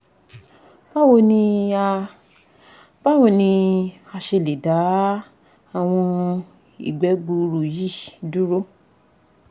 bawo ni a bawo ni a ṣe le da awọn igbe gbuuru yi duro?